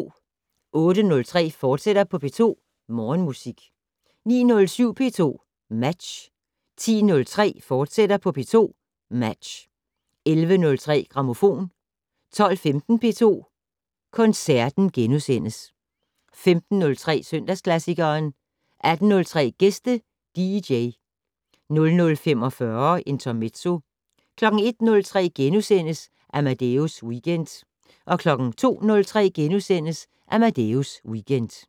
08:03: P2 Morgenmusik, fortsat 09:07: P2 Match 10:03: P2 Match, fortsat 11:03: Grammofon 12:15: P2 Koncerten * 15:03: Søndagsklassikeren 18:03: Gæste dj 00:45: Intermezzo 01:03: Amadeus Weekend * 02:03: Amadeus Weekend *